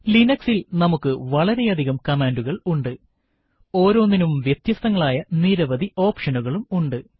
Linux ൽ നമുക്ക് വളരെയധികം കമാൻഡുകൾ ഉണ്ട് ഓരോന്നിനും വ്യത്യസ്തങ്ങളായ നിരവധി ഓപ്ഷനുകളും ഉണ്ട്